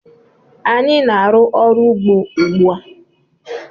Anyị na-aru ọrụ ugbó ugbu a.